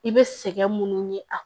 I bɛ sɛgɛn minnu ye a